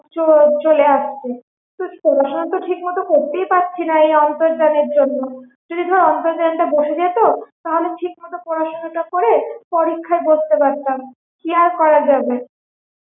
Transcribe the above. চ~ চলে আসছে এখন তো ঠিক মতো পড়তেই পারছিনা এই আন্তর্জালের জন্য যদি অন্তর্জালটা বসে যেত তবে ঠিকমতো পড়াশুনা টা করে পরীক্ষায় বসতে পারতাম কি আর করা যাবে?